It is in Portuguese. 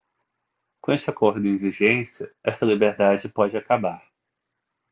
com este acordo em vigência esta liberdade pode acabar